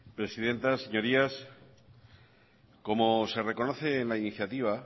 presidenta señorías como se reconoce en la iniciativa